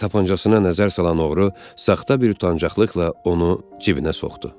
Tapıncasına nəzər salan oğru saxta bir utancaqlıqla onu cibinə soxdu.